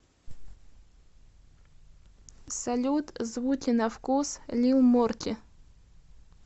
салют звуки на вкус лил морти